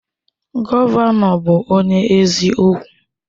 Gọvanọ bụ onye eziokwu.